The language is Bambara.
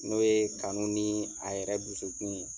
N'o ye kanu ni a yɛrɛ dusukun ye